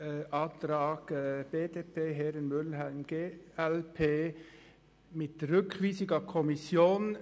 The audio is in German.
Der Antrag BDP/Herren und Mühlheim/glp möchte die Rückweisung an die Kommission.